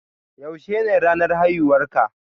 Yaushe ne ranar haihuwar ka?